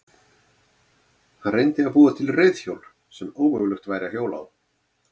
Hann reyndi að búa til reiðhjól sem ómögulegt væri að hjóla á.